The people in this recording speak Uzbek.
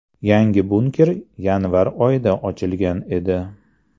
Yangi bunker yanvar oyida ochilgan edi.